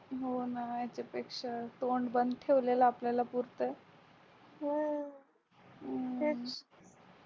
होना यांच्यापेक्षा तोंड बंद ठेवलेल आपल्याला पुरतंय हम्म